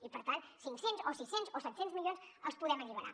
i per tant cinc cents o sis cents o set cents milions els podem alliberar